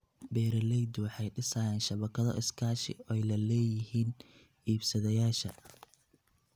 Beeraleydu waxay dhisayaan shabakado iskaashi oo ay la leeyihiin iibsadayaasha.